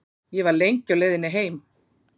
Ég var lengi á leiðinni heim.